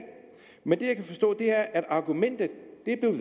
men det jeg kan forstå er at argumentet